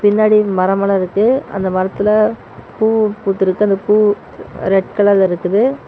பின்னாடி மரம் எல்லாம் இருக்கு அந்த மரத்துல பூ பூத்திருக்கு அந்த பூ ரெட் கலர்ல இருக்குது.